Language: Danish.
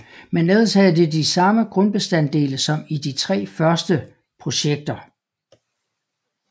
Men ellers havde det de samme grundbestanddele som i de tre første projekter